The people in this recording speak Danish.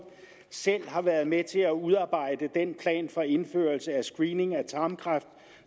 selv har været med til at udarbejde den plan for indførelse af screening for tarmkræft